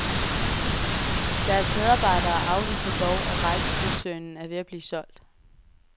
Deres medarbejdere afviser dog, at rejsekoncernen er ved at blive solgt.